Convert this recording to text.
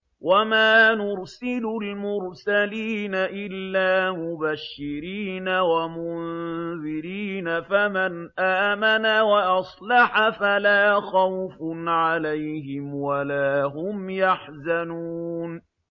وَمَا نُرْسِلُ الْمُرْسَلِينَ إِلَّا مُبَشِّرِينَ وَمُنذِرِينَ ۖ فَمَنْ آمَنَ وَأَصْلَحَ فَلَا خَوْفٌ عَلَيْهِمْ وَلَا هُمْ يَحْزَنُونَ